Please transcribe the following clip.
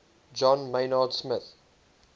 john maynard smith